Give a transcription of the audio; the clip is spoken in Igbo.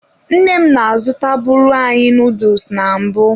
Nne m na-azụtabụrụ anyị nuduls na mbụ.